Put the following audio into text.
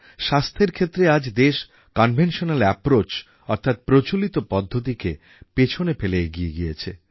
স্বাস্থ্যের ক্ষেত্রে আজ দেশ কনভেনশনাল অ্যাপরোচ অর্থাৎ প্রচলিত পদ্ধতিকে পিছনে ফেলে এগিয়ে গিয়েছে